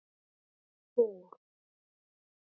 Góð fórn.